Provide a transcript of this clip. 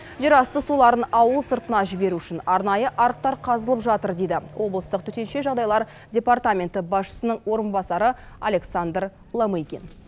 жер асты суларын ауыл сыртына жіберу үшін арнайы арықтар қазылып жатыр дейді облыстық төтенше жағдайлар департаменті басшысының орынбасары александр ломыгин